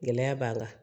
Gɛlɛya b'an kan